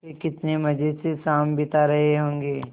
वे कितने मज़े से शाम बिता रहे होंगे